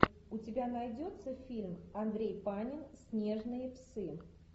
у тебя найдется фильм андрей панин снежные псы